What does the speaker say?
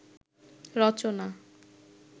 রচনা